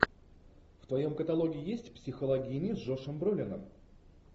в твоем каталоге есть психологини с джошем бролином